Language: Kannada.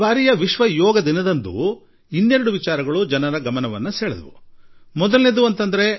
ಈ ಬಾರಿ ವಿಶ್ವದಲ್ಲಿ ಯೋಗ ದಿನದ ಜತೆ ಜತೆಯಲ್ಲೇ ಇನ್ನೂ ಎರಡು ಸಂಗತಿಗಳ ಬಗ್ಗೆ ವಿಶ್ವದ ವಿಶೇಷ ಗಮನ ಹರಿದಿದ್ದನ್ನು ನೀವು ಗಮನಿಸಿರಬಹುದು